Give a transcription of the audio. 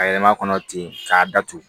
A yɛlɛma kɔnɔ ten k'a datugu